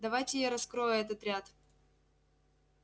давайте я раскрою этот ряд